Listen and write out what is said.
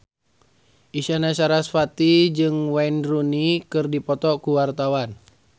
Isyana Sarasvati jeung Wayne Rooney keur dipoto ku wartawan